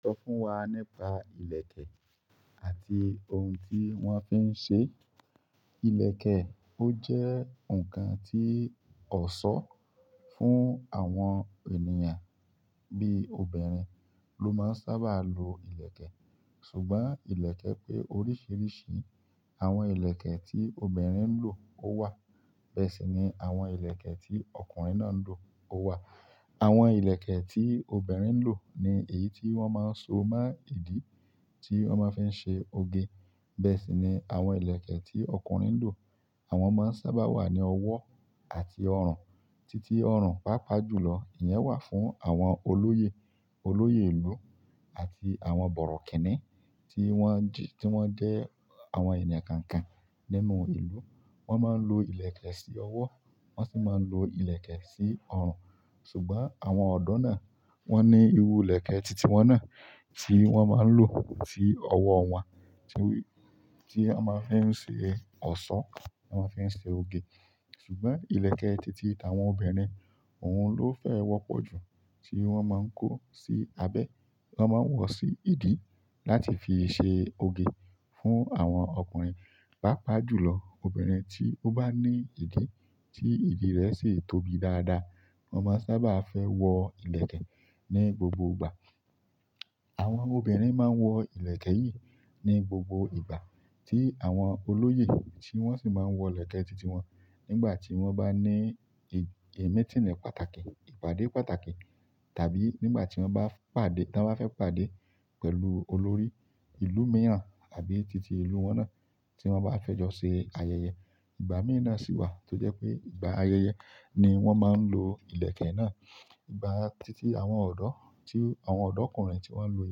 Sọ fún wa nípa ìlẹ̀kẹ̀ àti ohun tí wọ́n fi ń ṣe. Ìlẹ̀kẹ̀ ó jẹ́ ǹkan tí ọ̀ṣọ́ fún àwọn ènìyàn bí obìnrin ló máa sábà lo ìlẹ̀kẹ̀. Ṣùgbọ́n ìlẹ̀kẹ̀ pé oríṣiríṣi. Àwọn ìlẹ̀kẹ̀ tí obìnrin ń lò ó wà, bẹ́ẹ̀ sì ni àwọn ìlẹ̀kẹ̀ tí ọkùnrin náà ń lò ó wà. Àwọn ilẹkẹ ti obirin ńlo ní èyí tí wọn má ń so mọ ìdí ti wọn má fí ń ṣe oge. Bẹ́ẹ̀ sì ni àwọn ìlẹ̀kẹ̀ tí ọkùnrin ń lò. Àwọn máa sábà wà ni ọwọ àti ọrun títí ọrùn, pàápàá jùlọ, ìyẹn wà fún àwọn olóyè, olóyè ìlú àti àwọn bọ̀rọ̀kìnní tí wọ́n jí, tí wọ́n jẹ́ àwọn ènìyàn kànkàn nínú ìlú. Wọ́n máa ń lo ìlẹ̀kẹ̀ sí ọwọ́, wọ́n sì máa ń lo ìlẹ̀kẹ̀ sí ọrùn. Ṣùgbọ́n àwọn ọ̀dọ́ náà wọ́n ní irú ìlẹ̀kẹ̀ títí wọn náà tí wọ́n máa ń lò sí ọwọ́ wọn, tí w-- tí a máa ń fi ṣe ọ̀ṣọ́, à máa ń fi ṣe oge. Ṣùgbọ́n ìlẹ̀kẹ̀ títí àwọn obìnrin òun ló fẹ́ wọ́pọ̀ jù tí wọ́n máa ń kó sí abẹ́, wọ́n máa ń wọ̀ sí ìdí láti fi ṣe oge fún àwọn ọkùnrin. Pàápàá jùlọ, obìnrin tí ó bá ní ìdí tí ìdí rẹ̀ sì tóbi dáadáa, wọn máa sábà fẹ́ wọ ìlẹ̀kẹ̀ ní gbogbo ìgbà. Àwọn ọmọ obìrin má ń wọ ilẹkẹ yí ni gbogbo ìgbà tí àwọn olóyè tí wọn sì má ń wọ ilẹkẹ titi wọn nígbà ti wọn bá ni ẹ̀, meeting ni pàtàkì, ìpàdé pàtàkì tàbí nígbà tí wọ́n bá pàdé, tán bá fẹ́ pàdé pẹ̀lú olórí ìlú mìíràn àbí títí ìlú wọn náà tí wọ́n bá fẹ́ jọ ṣe ayẹyẹ. Ìgbà mìí na sì wà tó jẹ́ pé ìgbà ayẹyẹ ni wọ́n máa ń lo ìlẹ̀kẹ̀ náà. Ìgbà titi àwọn ọdọ tí àwọn ọdọkunrin tí wọn lo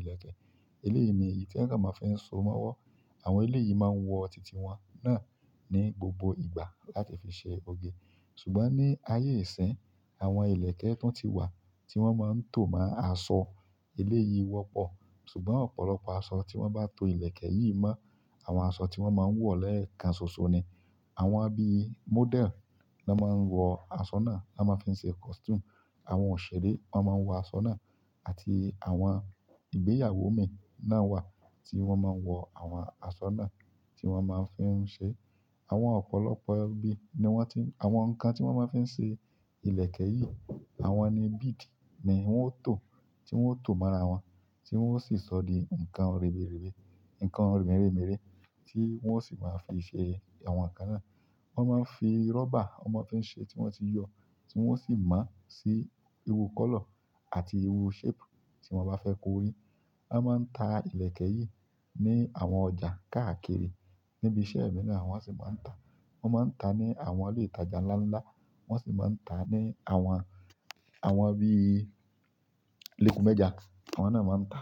ilẹkẹ eleyii ní èyí tí wọn kàn má fí so mọwọ. Àwọn eléyìí máa ń wọ títí wọn náà ní gbogbo ìgbà láti fi ṣe oge. Ṣùgbọ́n ní ayé ìsín, àwọn ìlẹ̀kẹ̀ tun tí wà tí wọ́n máa ń tò máa aṣọ eléyìí wọ́pọ̀. Ṣùgbọ́n ọ̀pọ̀lọpọ̀ aṣọ tí wọ́n bá to ìlẹ̀kẹ̀ yìí mọ́ àwọn aṣọ tí wọ́n máa ń wọ̀ lẹ́ẹ̀kan ṣoṣo ni àwọn bí i model ló máa ń wọ aṣọ náà, ló máa ń fi ṣe costume. Àwọn òṣèré wọn máa ń wọ aṣọ náà àti àwọn ìgbéyàwó mi náà wà tí wọ́n máa ń wọ àwọn aṣọ náà tí wọ́n máa ń fi ṣe. Àwọn ọ̀pọ̀lọpọ̀ ẹbí ni wọ́n ti, àwọn ǹkan tí wọ́n máa ń fi ṣe ìlẹ̀kẹ̀ yìí, àwọn ni bead ni wọ́n ó tò, tí wọ́n ó tò mọ́ ara wọn, tí wọ́n ó sì sọ di ǹkan rere rere, ǹkan mere mere tí wọ́n ó sì máa fi ṣe àwọn ǹkan náà. Wọ́n máa ń fi rubber wọ́n máa ń fi ṣe tí wọ́n ti yọ, tí wọ́n sì má sì irú kọ́lọ̀ àti irú shape tí wọ́n bá fẹ́ kó rí. Wọ́n máa ń ta ìlẹ̀kẹ̀ yìí ní àwọn ọjà káàkiri. Níbi iṣẹ́ mí náà wọ́n sì máa ń ta. Wọ́n máa ń ta ní àwọn ilé ìtajà ńlá ńlá, wọ́n sì máa ń ta ní àwọn, àwọn bí i Leku Mẹ́jà, àwọn náà máa ń ta.